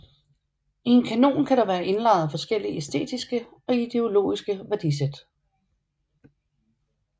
I en kanon kan der være indlejret forskellige æstetiske og ideologiske værdisæt